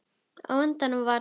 Á endanum var